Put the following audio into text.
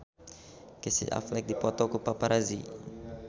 Casey Affleck dipoto ku paparazi